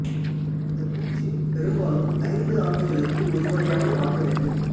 இந்தப் பூச்சு பெரும்பாலும் ஐந்து ஆண்டுகளுக்கு ஒரு முறையாவது மாற்ற வேண்டும்